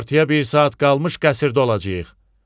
Günortaya bir saat qalmış qəsrdə olacağıq.